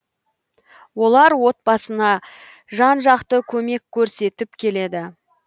олар отбасына жан жақты көмек көрсетіп келеді